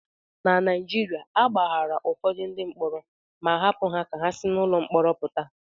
Na Naijiria, a gbaghaara ụfọdụ ndị mkpọrọ ma hapụ ha ka ha si n'ụlọ mkpọrọ pụta